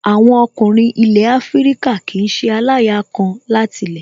Àwọn ọkùnrin ilẹ̀ Afíríkà kìí ṣe aláya kan láti lẹ̀